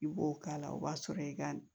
I b'o k'a la o b'a sɔrɔ i ka